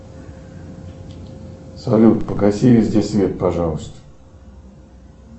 салют погаси везде свет пожалуйста